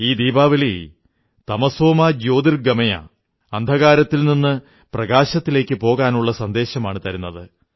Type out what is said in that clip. ഈ ദീപാവലി തമസോ മാ ജ്യോതിർഗമയ അന്ധകാരത്തിൽ നിന്ന് പ്രകാശത്തിലേക്കു പോകാനുള്ള സന്ദേശമാണു തരുന്നത്